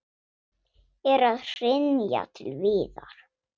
Er að hrynja til viðar.